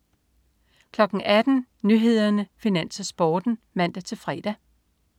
18.00 Nyhederne, Finans, Sporten (man-fre)